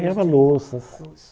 Ganhava louças.